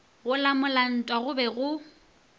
go lamola ntwa go be